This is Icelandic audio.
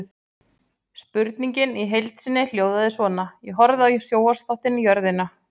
Spurningin í heild sinni hljóðaði svona: Ég horfði á sjónvarpsþáttinn Jörðina.